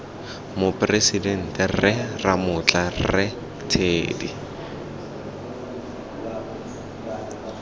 moporesidente rre ramotla rre teddy